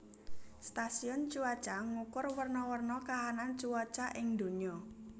Stasiun cuaca ngukur werna werna kahanan cuaca ing donya